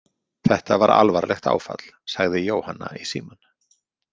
Þetta var alvarlegt áfall, sagði Jóhanna í símann.